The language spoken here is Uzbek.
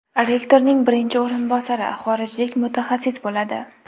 Rektorning birinchi o‘rinbosari xorijlik mutaxassis bo‘ladi.